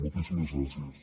moltíssimes gràcies